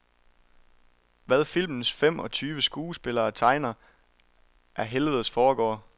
Hvad filmens fem og tyve skuespillere tegner, er helvedes forgård.